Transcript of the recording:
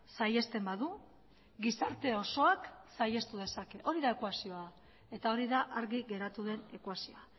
saihesten badu gizarte osoak saihestu dezake hori da ekuazioa eta hori da argi geratu den ekuazioa